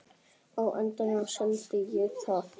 Á endanum seldi ég það.